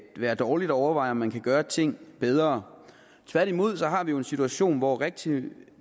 være dårligt at overveje om man kan gøre ting bedre tværtimod har vi jo en situation hvor rigtig